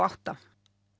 átta